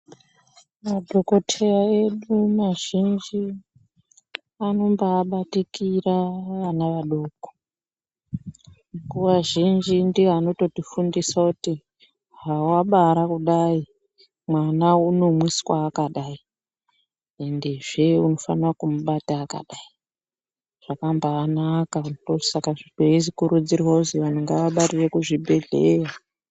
Madhokotheya edu mazhinji anombaabatikira vana vadoko. Nguwa zhinji ndiwo anototifundisa kuti hawabara kudai mwana unomwiswa akadai. Ende zve unofana kumubata akadai. Zvakambaanaka ndosaka kweikurudzirwa kuti vantu ngavabarire kuzvibhendleya.